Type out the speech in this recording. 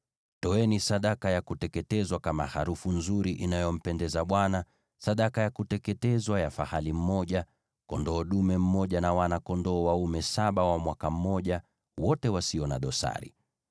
Toeni sadaka ya kuteketezwa kama harufu nzuri inayompendeza Bwana , sadaka ya kuteketezwa ya fahali mmoja, kondoo dume mmoja, na wana-kondoo dume saba wa mwaka mmoja, wote wasio na dosari.